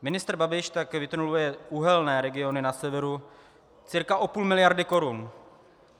Ministr Babiš tak vytuneluje uhelné regiony na severu cca o půl miliardy korun.